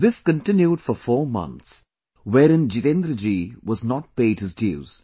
This continued for four months wherein Jitendra ji was not paid his dues